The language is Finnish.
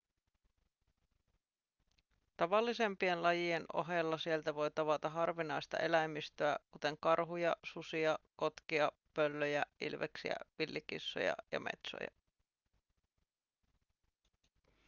tavallisempien lajien ohella sieltä voi tavata harvinaista eläimistöä kuten karhuja susia kotkia pöllöjä ilveksiä villikissoja ja metsoja